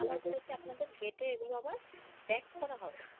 আবার বলেছে আপনাদের gate এ এগুলো আবার back করা হবে ।